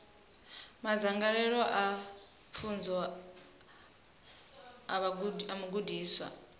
madzangalelo a pfunzo a mugudiswa